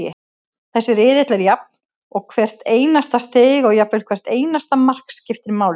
Þessi riðill er jafn og hvert einasta stig og jafnvel hvert einasta mark, skiptir máli.